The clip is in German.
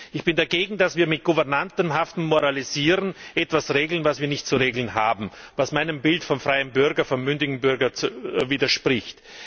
Ich bin dagegen, dass wir mit gouvernantenhaftem Moralisieren etwas regeln, das wir nicht zu regeln haben, was meinem Bild vom freien, mündigen Bürger widerspricht.